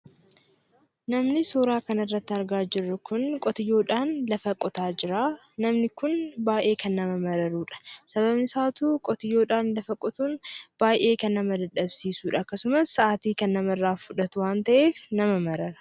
Namni suuraa kana irratti argaa jirru kun, qotiyyoodhaan, lafa qotaa jira. Namni kun baayyee kan nama mararudha. Sababnisaatuu, qotiyyoodhaan lafa qotuun baayyee kan nama dadhabsiisuudha. Akkasumas sa'aatii kan namarraa fudhatu waan ta'eef nama marara.